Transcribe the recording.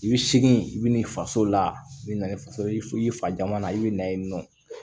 I bɛ segin i bɛ na i faso la i bɛ na ni faso i fa man na i bɛ na ye nɔ